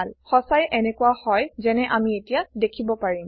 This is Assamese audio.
সচাঁই এনেকোৱাই হয় যেনে আমি এতিয়া দেখিব পাৰিম